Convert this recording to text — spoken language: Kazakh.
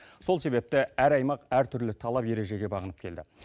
сол себепті әр аймақ әртүрлі талап ережеге бағынып келді